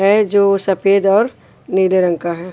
है जो सफेद और नीले रंग का है।